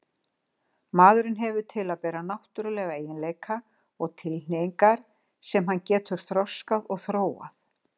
Maðurinn hefur til að bera náttúrulega eiginleika og tilhneigingar sem hann getur þroskað og þróað.